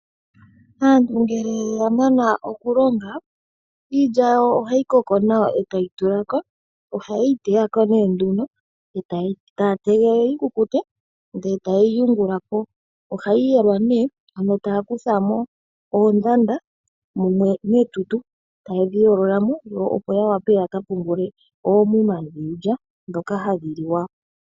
Aantu ngele ya mana oku longa iilya yawo ohayi koko nawa e tayi tula ko. Ohaye yi teya ko nee nduno, e taya tegelele yi kukute, ndele e ta ye yi yungula po. Ohayi yelwa nee ano taya kutha mo oondanda mumwe netutu, ta yedhi yoolola mo, opo ya wape yaka pungule oomuma dhiilya ndhoka hadhi liwa.